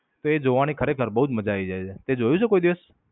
તો એ જોવાની ખરેખર બોવ જ મજા આયી જાય છે. તે જોયું છે કોઈ દિવસ?